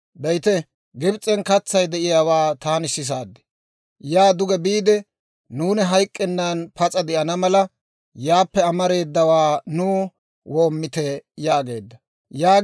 Be'ite! Gibs'en katsay de'iyaawaa taani sisaad; yaa duge biide, nuuni hayk'k'ennan pas'a de'ana mala, yaappe amareedawaa nuw woomite» yaageedda.